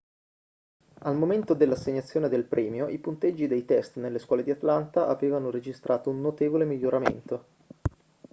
al momento dell'assegnazione del premio i punteggi dei test nelle scuole di atlanta avevano registrato un notevole miglioramento